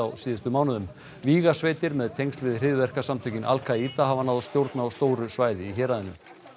síðustu mánuði með tengsl við hryðjuverkasamtökin al Kaída hafa náð stjórn á stóru svæði í héraðinu